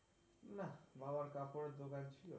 না বাবার কাপড়ের দোকান ছিল.